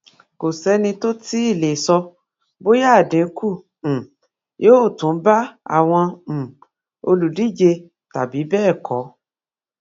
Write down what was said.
kò sẹni tó tí ì lè sọ bóyá àdínkù um yóò tún bá àwọn um olùdíje tàbí bẹẹ kọ